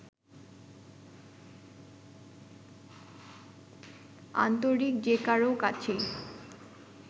আন্তরিক যে কারও কাছেই